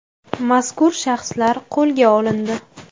Mazkur shaxslar qo‘lga olindi.